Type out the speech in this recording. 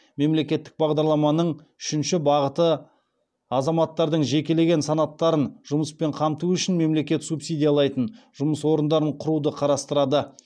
мемлекеттік бағдарламаның үшінші бағыты азаматтардың жекелеген санаттарын жұмыспен қамту үшін мемлекет субсидиялайтын жұмыс орындарын құруды қарастырады